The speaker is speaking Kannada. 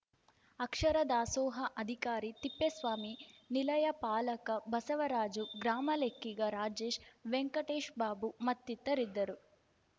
ಅಕ್ಷರ ದಾಸೋಹ ಅಧಿಕಾರಿ ತಿಪ್ಪೇಸ್ವಾಮಿ ನಿಲಯಪಾಲಕ ಬಸವರಾಜು ಗ್ರಾಮಲೆಕ್ಕಿಗ ರಾಜೇಶ್‌ ವೆಂಕಟೇಶ್‌ಬಾಬು ಮತ್ತಿತರರಿದ್ದರು